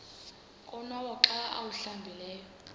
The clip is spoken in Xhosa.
konwaba xa awuhlambileyo